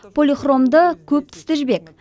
полихромды көптүсті жібек